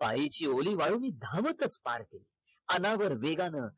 पायीची ओली वाळू मी धावतच पार केली